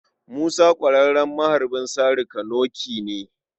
Musa ƙwararren maharbin sari-ka-noƙe ne.